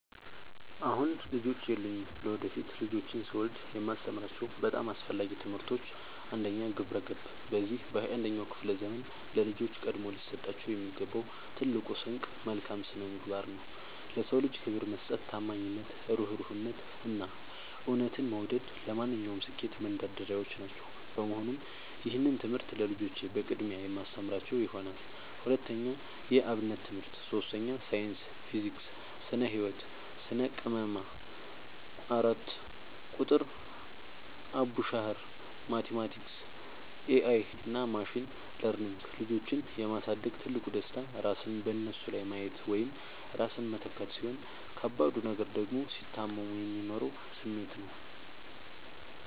አሁን ልጆች የሉኝም። ለወደፊት ልጆችን ስወልድ የማስተምራቸው በጣም አስፈላጊ ትምህርቶች፦ 1. ግብረ-ገብ፦ በዚህ በ 21ኛው ክፍለ ዘመን ለልጆች ቀድሞ ሊሰጣቸው የሚገባው ትልቁ ስንቅ መልካም ስነምግባር ነው። ለ ሰው ልጅ ክብር መስጠት፣ ታማኝነት፣ እሩህሩህነት፣ እና እውነትን መውደድ ለማንኛውም ስኬት መንደርደሪያዎች ናቸው። በመሆኑም ይህንን ትምህርት ለልጆቼ በቅድሚያ የማስተምራቸው ይሆናል። 2. የ አብነት ትምህርት 3. ሳይንስ (ፊዚክስ፣ ስነ - ህወት፣ ስነ - ቅመማ) 4. ቁጥር ( አቡሻኽር፣ ማቲማቲክስ ...) 5. ኤ አይ እና ማሽን ለርኒንግ ልጆችን የ ማሳደግ ትልቁ ደስታ ራስን በነሱ ላይ ማየት ወይም ራስን መተካት፣ ሲሆን ከባዱ ነገር ደግሞ ሲታመሙ የሚኖረው ስሜት ነው።